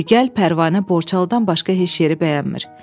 Deyir gəl Pərvanə Borçalıdan başqa heç yeri bəyənmir.